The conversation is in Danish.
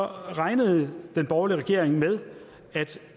regnede den borgerlige regering med at